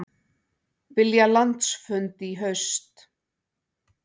Vilja landsfund í haust